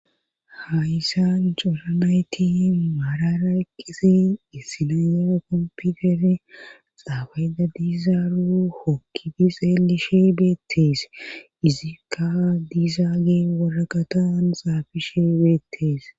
hayssan coranayti maarara ekkisi issinan yera kompitere xaafayda diizaaro hokkidi xeelishe beettees izikka diizaage woraqatan xaafishe beettees